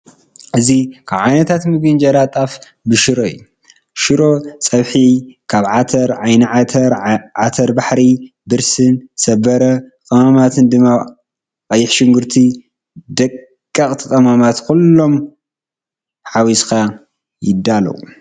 እዚ ካብ ዓይነታት ምግቢ እንጀራ ጣፍ ብሽሮ እዩ። ሽሮ ፀብሒካብ ዓተር፣ ዓይኒ-ዓተር፣ ዓተረ-ባሕሪ ፣ብርስን፣ ሰበረ ቀመማት ድማ ቀይሕ ሽጉርቲ ደቀቅቲ ቀመማት ኩሎም ሓሚስካ ይዳለሎ።